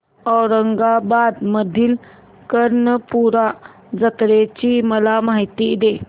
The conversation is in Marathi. औरंगाबाद मधील कर्णपूरा जत्रेची मला माहिती दे